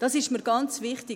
Das ist mir ganz wichtig.